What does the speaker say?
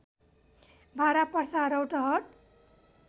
Bara Parsa Rautahat